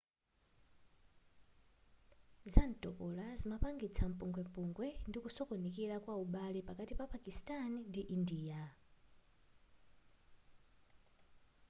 zantopola zimapangitsa mpungwepungwe ndikusokonekera kwa ubale pakati pa pakistani ndi india